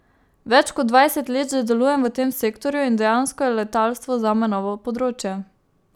Več kot dvajset let že delujem v tem sektorju in dejansko je letalstvo zame novo področje.